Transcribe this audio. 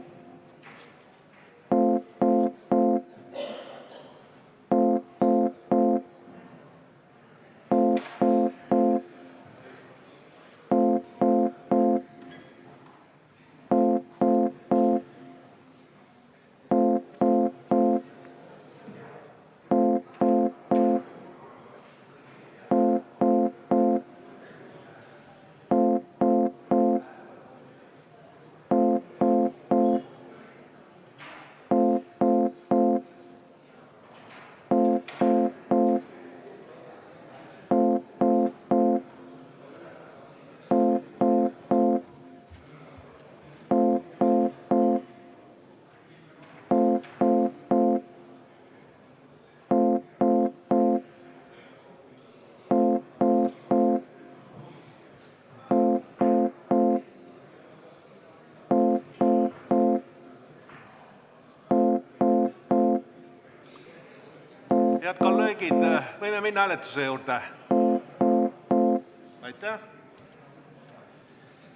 Head kolleegid, kas võime minna hääletuse juurde?